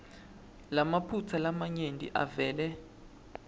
lamaphutsa lamanyenti avele